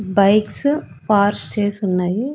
Bikes పార్ష్ చేసున్నయి.